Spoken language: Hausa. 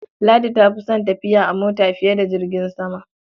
Ladi ta fi son tafiya a mota fiye da jirgin sama.